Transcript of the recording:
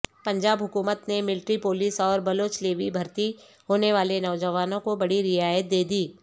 پنجاب حکومت نے military police اوربلوچ لیوی بھرتی ہونیوالے نوجوانوں کو بڑی رعایت دیدی